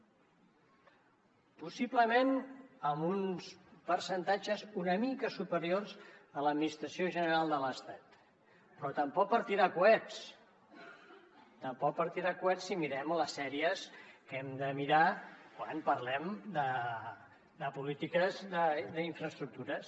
possiblement amb uns percentatges una mica superiors a l’administració general de l’estat però tampoc per tirar coets tampoc per tirar coets si mirem les sèries que hem de mirar quan parlem de polítiques d’infraestructures